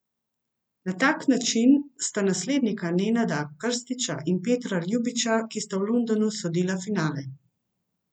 Na tak način sta naslednika Nenada Krstiča in Petra Ljubiča, ki sta v Londonu sodila finale.